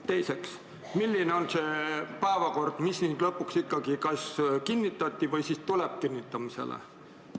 Teiseks, milline on see päevakord, mis lõpuks kinnitati või mis tuleb kinnitamisele?